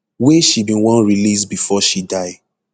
wey she bin wan release bifor she die